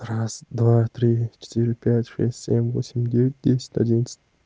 раз два три четыре пять шесть семь восемь девять десять одиннадцать